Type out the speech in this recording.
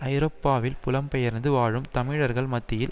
ஐரோப்பாவில் புலம்பெயர்ந்து வாழும் தமிழர்கள் மத்தியில்